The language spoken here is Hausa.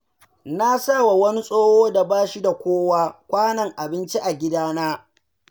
Na sawa wani tsoho da ba shi da kowa, kwanon abinci a gidana.